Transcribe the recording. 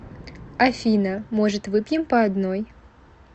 афина может выпьем по одной